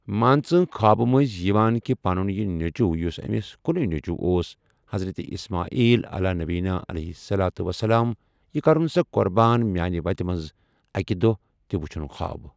مان ژٕ خوابہٕ مٔنٛزۍ یِوان کہِ پنُن یہِ نیٚچو یُس أمِس کُنے نیٚچو اوس حضرتہِ اسماعیل علیٰ نبی علیہ صلاتُ وسلام یہِ کرُن سا قۄربان میانہِ وتہِ منٛز اکہِ دۄہ تہِ وٕچھُن خواب۔